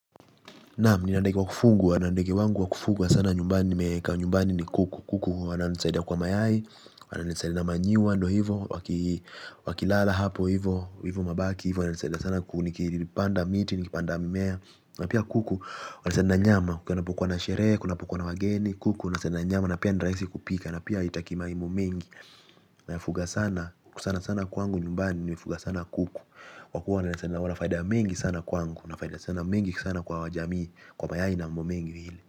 Naam, ninandege wakufungu, anandege wangu wakufuga sana nyumbani nimeka nyumbani ni kuku. Kuku wana nisaidia kwa mayai, wana nisaidia na manyiwa ndo hivo, wakilala hapo hivo, hivo mabaki hivo wana nisaida sana kuku. Nikipanda miti, nikipanda mimea. Na pia kuku walesainda nyama. Kuna pokuwa na sherehe, kuna pokuwa na wageni. Kuku walesenda nyama na pia niraisi kupika. Na pia itakima imo mengi. Na fuga sana, kuku sana sana kwangu. Nyumbani nimefuga sana kuku. Kwa kuwa walesenda wala faida mengi sana kwangu. Na faida sana mengi sana kwa wajami. Kwa mayai na mambo mengi vile.